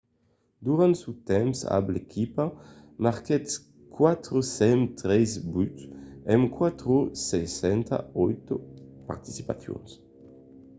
durant son temps amb l'equipa marquèt 403 buts en 468 participacions